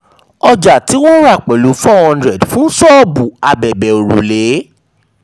ọjà tí wọ́n rà pẹ̀lú four hundred fún ṣọ́ọ̀bù abẹbẹ̀ òrùlé.